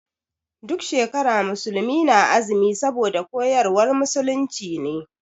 Duk shekara musulmi na azumi saboda koyarwar musulunci ne.